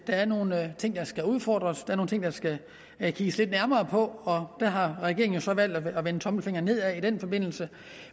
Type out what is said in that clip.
er nogle ting der skal udfordres der er nogle ting der skal kigges lidt nærmere på og der har regeringen jo så valgt at vende tommelfingeren nedad i den forbindelse